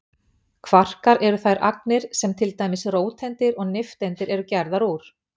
Kvarkar eru þær agnir sem til dæmis róteindir og nifteindir eru gerðar úr.